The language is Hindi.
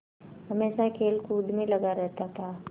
हमेशा खेलकूद में लगा रहता था